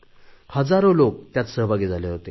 हजारो लोक यात सहभागी झाले होते